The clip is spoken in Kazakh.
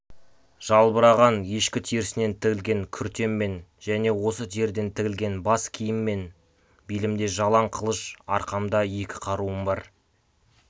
жалбыраған ешкі терісінен тігілген күртеммен және осы теріден тігілген бас киіміммен белімде жалаң қылыш арқамда екі қаруым бар